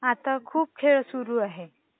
आता खूप खेळ सुरु आहे.